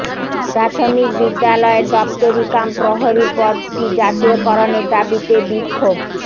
প্রাথমিক বিদ্যালয়ের দপ্তরি কাম প্রহরী পদটি জাতীয়করণের দাবিতে বিক্ষোভ